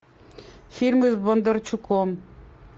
фильмы с бондарчуком